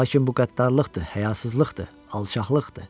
Lakin bu qəddarlıqdır, həyasızlıqdır, alçaqlıqdır.